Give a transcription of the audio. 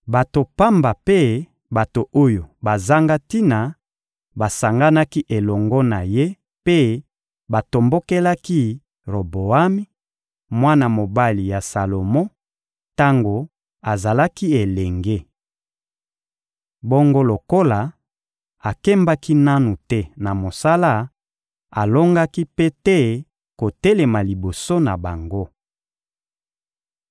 Bato pamba mpe bato oyo bazanga tina basanganaki elongo na ye mpe batombokelaki Roboami, mwana mobali ya Salomo, tango azalaki elenge! Bongo lokola akembaki nanu te na mosala, alongaki mpe te kotelema liboso na bango.